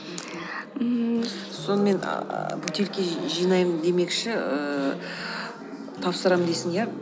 мхм ммм сонымен ааа бөтелке жинаймын демекші ііі тапсырам дейсің иә